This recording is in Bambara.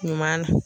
Ɲuman na